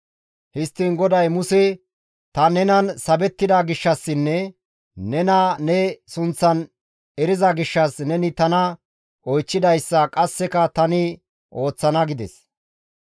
Histtiin GODAY Muse, «Ta nenan sabettida gishshassinne nena ne sunththan eriza gishshas neni tana oychchidayssa qasseka tani ooththana» gides.